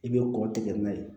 I bɛ kɔ tigɛ n'a ye